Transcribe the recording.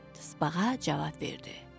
Tısbağa cavab verdi: